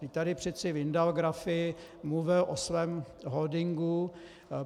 Vždyť tady přece vyndal grafy, mluvil o svém holdingu.